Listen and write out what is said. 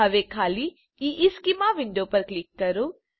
હવે ખાલી ઇશ્ચેમાં વિન્ડો પર ક્લિક કરો